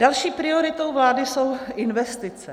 Další prioritou vlády jsou investice.